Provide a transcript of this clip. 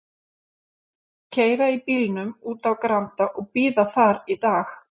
Keyra í bílnum út á Granda og bíða þar í dag.